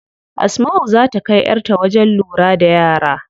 Asmau zaa ta kai yar ta wajen lura da yara.